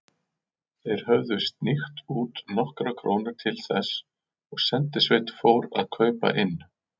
Þeir höfðu sníkt út nokkrar krónur til þess, og sendisveit fór að kaupa inn.